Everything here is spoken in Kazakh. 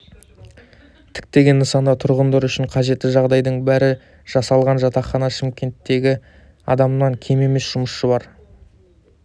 тіктеген нысанда тұрғындар үшін қажетті жағдайдың бәрі жасалған жатақхана шымкенттегі адамнан кем емес жұмысшысы бар